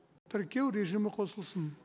тіркеу режимі қосылсын